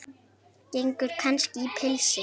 Gengur kannski í pilsi?